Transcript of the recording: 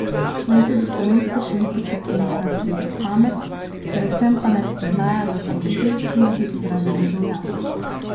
Naj tudi slovenske politike enkrat sreča pamet, predvsem pa naj spoznajo, da so v tej službi zaradi državljanov.